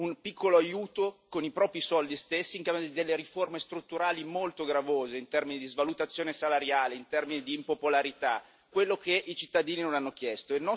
un piccolo aiuto, con i propri stessi soldi, in cambio di riforme strutturali molto gravose in termini di svalutazione salariale, in termini di impopolarità, quello che i cittadini non hanno chiesto.